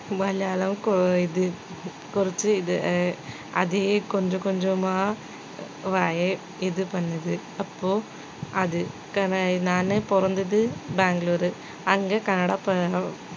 மலையாளம் கோ~ இது கொறச்சி இது அஹ் அதே கொஞ்சம் கொஞ்சமா வாயை இது பண்ணுது அப்போ அது நானே பிறந்தது பெங்களூரு அங்கே கன்னடம்